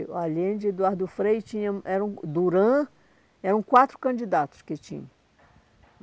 O Allende, Eduardo Frei, e tinham, era Duran... Eram quatro candidatos que tinham.